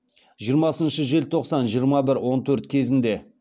жиырмасыншы желтоқсан жиырма бір он төрт кезінде